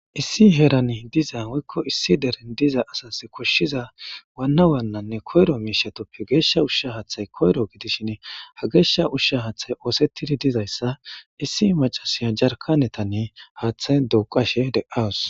issi herani diza woykko issi deren diza asas koshshiza waanna waannanne koyro miishatoppe geeshsha ushsha haathay koyro gidishin ha geeshsha ushsha haaththay oosettidi dizayssa issi macasiya jarkanetanni haaththay duqashe de'awos